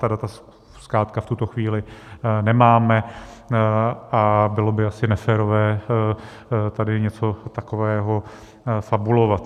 Ta data zkrátka v tuto chvíli nemáme a bylo by asi neférové tady něco takového fabulovat.